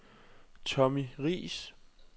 Tommy Riis